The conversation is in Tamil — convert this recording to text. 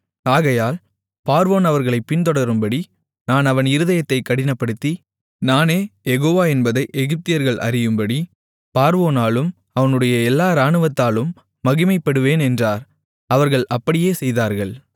ஆகையால் பார்வோன் அவர்களைப் பின்தொடரும்படி நான் அவன் இருதயத்தைக் கடினப்படுத்தி நானே யெகோவா என்பதை எகிப்தியர்கள் அறியும்படி பார்வோனாலும் அவனுடைய எல்லா ராணுவத்தாலும் மகிமைப்படுவேன் என்றார் அவர்கள் அப்படியே செய்தார்கள்